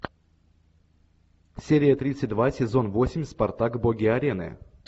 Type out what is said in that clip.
серия тридцать два сезон восемь спартак боги арены